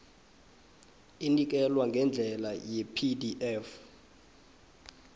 inikelwa ngendlela yepdf